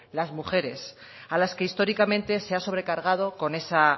las mujeres a las que históricamente se ha sobrecargado con esa